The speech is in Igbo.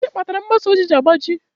Gịnị kpatara mgbasa ozi ji agbaji?